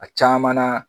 A caman na